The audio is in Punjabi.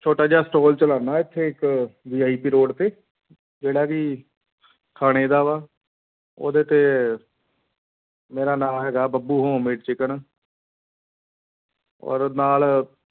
ਛੋਟਾ ਜਿਹਾ store ਚਲਾਉਂਦਾ ਇੱਥੇ ਇੱਕ VIP road ਤੇ ਜਿਹੜਾ ਵੀ ਖਾਣੇ ਦਾ ਵਾ ਉਹਦੇ ਤੇ ਮੇਰਾ ਨਾਂ ਹੈਗਾ ਬੱਬੂ home made chicken ਔਰ ਨਾਲ